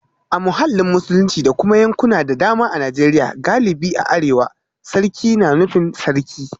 A mahallin Musulunci da kuma yankuna da dama a Najeriya galibi a arewa, sarki na nufin Sarki